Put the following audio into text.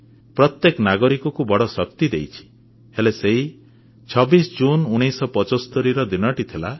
ପ୍ରତ୍ୟେକ ନାଗରିକକୁ ବଡ଼ ଶକ୍ତି ଦେଇଛି ହେଲେ ସେହି 26 ଜୁନ 1975 ର ଦିନଟି ଥିଲା